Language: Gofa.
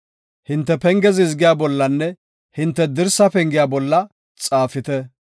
Hinte penge zizgiya bollanne hinte dirsa pengiya bolla xaafite.